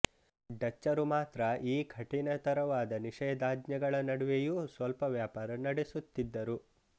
ಡಚ್ಚರು ಮಾತ್ರ ಈ ಕಠಿಣತರವಾದ ನಿಷೇಧಾಜ್ಞೆಗಳ ನಡುವೆಯೂ ಸ್ವಲ್ಪ ವ್ಯಾಪಾರ ನಡೆಸುತ್ತಿದ್ದರು